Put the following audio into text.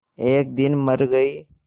एक दिन मर गई